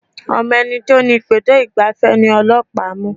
Ọmọ ẹni tí ó ni ibùdó ìgbafẹ́ ni ọlọ́pàá mú.